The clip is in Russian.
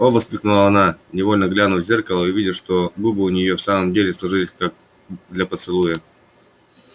о воскликнула она невольно глянув в зеркало и увидев что губы у нее и в самом деле сложились как для поцелуя